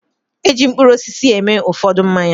E ji mkpụrụ osisi eme ụfọdụ mmanya.